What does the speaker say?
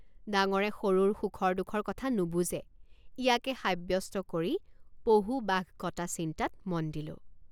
ডাঙৰে সৰুৰ সুখৰ দুখৰ কথা নুবুজে ইয়াকে সাব্যস্ত কৰি পহুবাঘ কটা চিন্তাত মন দিলোঁ।